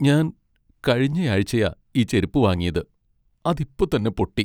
ഞാൻ കഴിഞ്ഞയാഴ്ചയാ ഈ ചെരുപ്പ് വാങ്ങിയത് ,അത് ഇപ്പൊ തന്നെ പൊട്ടി.